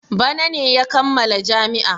Bara ne na kamma jami'a.